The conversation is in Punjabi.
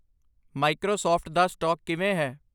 ਮਾਈਕ੍ਰੋਸਾਫਟ ਦਾ ਸਟਾਕ ਕਿਵੇਂ ਹੈ